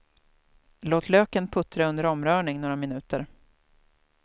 Låt löken puttra under omrörning några minuter.